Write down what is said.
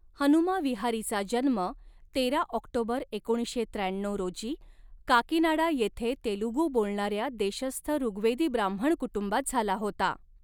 हनुमा विहारीचा जन्म तेरा ऑक्टोबर एकोणीसशे त्र्याण्णऊ रोजी काकीनाडा येथे तेलुगू बोलणाऱ्या देशस्थ ऋवेदी ब्राह्मण कुटुंबात झाला होता.